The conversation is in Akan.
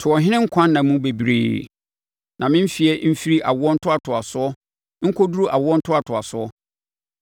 To ɔhene nkwa nna mu bebree; na ne mfeɛ mfiri awoɔ ntoatoasoɔ nkɔduru awoɔ ntoatoasoɔ.